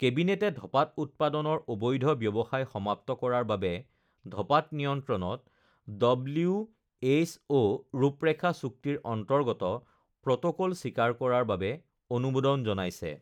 কেবিনেটে ধঁপাত উৎপাদনৰ অবৈধ ব্যৱসায় সমাপ্ত কৰাৰ বাবে ধঁপাত নিয়ন্ত্ৰণত ডব্লিউএইচঅ ৰূপৰেখা চুক্তিৰ অন্তৰ্গত প্ৰটকল স্বীকাৰ কৰাৰ বাবে অনুমোদন জনাইছে